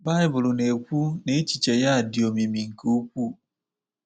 Baịbụl na-ekwu na echiche ya "dị omimi nke ukwuu."